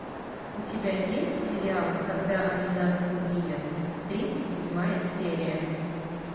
у тебя есть сериал когда они нас увидят тридцать седьмая серия